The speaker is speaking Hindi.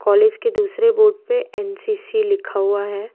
कॉलेज के दूसरे बोर्ड पे एन_सी_सी लिखा हुआ है।